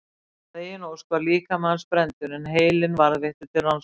Að eigin ósk var líkami hans brenndur en heilinn varðveittur til rannsókna.